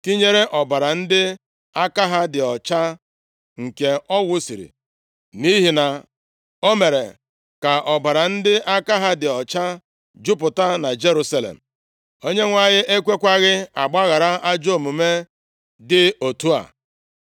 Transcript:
tinyere ọbara ndị aka ha dị ọcha nke ọ wusiri. Nʼihi na o mere ka ọbara ndị aka ha dị ọcha jupụta na Jerusalem. Onyenwe anyị ekwekwaghị agbaghara ajọ omume dị otu a.